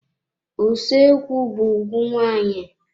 Usoekwu be ùgwù nwaanyị.